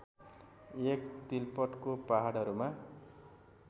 एक तिलपतको पहाडहरूमा